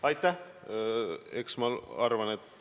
Aitäh!